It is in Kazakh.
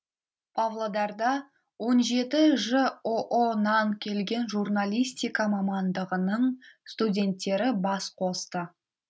павлодарда он жеті жоо нан келген журналистика мамандығының студенттері бас қосты